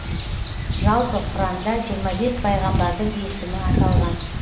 жалпы құранда жиырма бес пайғамбардың есімі аталған